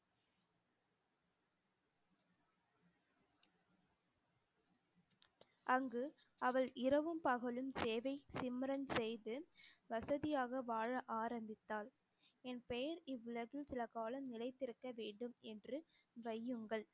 அங்கு அவள் இரவும் பகலும் சேவை சிம்ரன் செய்து வசதியாக வாழ ஆரம்பித்தாள் என் பெயர் இவ்வுலகில் சில காலம் நிலைத்திருக்க வேண்டும் என்று வையுங்கள்